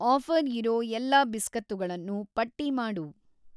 Offer ಇರೋ ಎಲ್ಲಾ ಬಿಸ್ಕತ್ತುಗಳನ್ನೂ ಪಟ್ಟಿ ಮಾಡು.